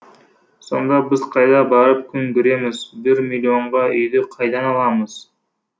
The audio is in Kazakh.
сонда біз қайда барып күн көреміз бір миллонға үйді қайдан аламыз